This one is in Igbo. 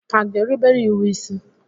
Hà ga-erubere iwu isi?